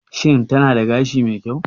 Shin tana da gashi mai kyau?